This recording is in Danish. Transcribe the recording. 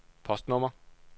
postnummer